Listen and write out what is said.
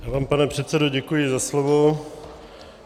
Já vám, pane předsedo, děkuji za slovo.